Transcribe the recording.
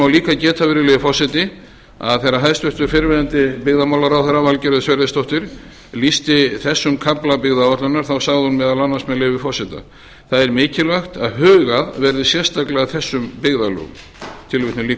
líka geta virðulegi forseti að þegar hæstvirtur fyrrverandi byggðamálaráðherra valgerður sverrisdóttir lýsti þessum kafla byggðaáætlunar sagði hún meðal annars með leyfi forseta það er mikilvægt að hugað verði sérstaklega að þessum byggðarlögum það